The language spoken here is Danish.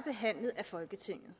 behandlet af folketinget